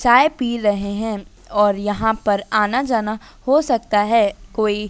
चाय पी रहे हैं और यहां पर आना जाना हो सकता है कोई--